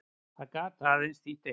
Það gat aðeins þýtt eitt.